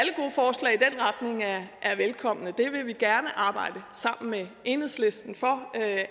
velkomne vi vil gerne arbejde sammen med enhedslisten om at